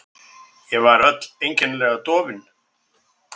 Ég var öll einkennilega dofin.